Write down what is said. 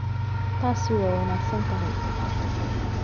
Taasi waa wanaagsan tahay.